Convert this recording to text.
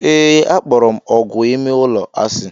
Ee, akpọrọ m ógwù ime ụlọ asị.